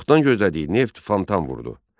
Çoxdan gözlədiyi neft fontan vurdu.